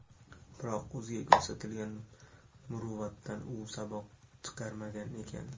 Biroq, o‘ziga ko‘rsatilgan muruvvatdan u saboq chiqarmagan ekan.